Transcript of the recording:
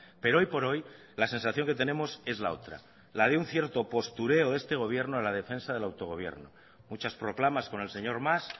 pero hoy por hoy la sensación que tenemos es la otra la de un cierto postureo de este gobierno en la defensa del autogobierno muchas proclamas con el señor mas